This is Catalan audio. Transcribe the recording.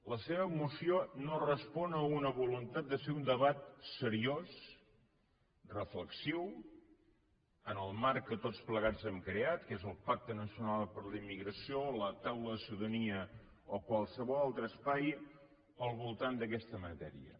la seva moció no respon a una voluntat de fer un debat seriós reflexiu en el marc que tots plegats hem creat que és el pacte nacional per a la immigració la taula de ciutadania o qualsevol altre espai al voltant d’aquesta matèria